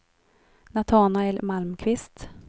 Natanael Malmqvist